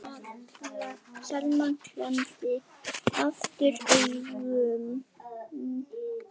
Selma klemmdi aftur augun.